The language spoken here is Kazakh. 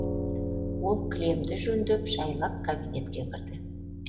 ол кілемді жөндеп жайлап кабинетке кірді